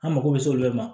An mako bɛ se olu de ma